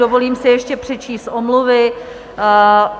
Dovolím si ještě přečíst omluvy.